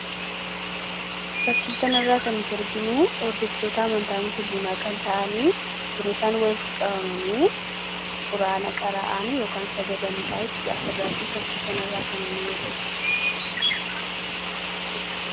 fakkiikan irraa kan hittu arginuu ordooftoota amantaa musliimaa kan ta'anii yerooisaan walitti qabamanii quraana qaraa'aany sagadaniidhaachudhaasirraatii fakkiikanirraa kan ini mul'esu